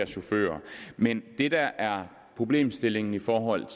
chauffører men det der er problemstillingen i forhold